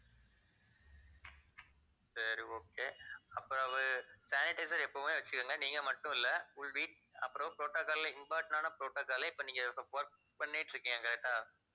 சரி okay அப்புறம் sanitizer எப்பவுமே வச்சுக்கங்க நீங்க மட்டும் இல்லை உங்க வீட்~ அப்புறம் protocol ல important ஆன protocol ஐ இப்ப நீங்க work பண்ணிட்டிருக்கீங்க correct ஆ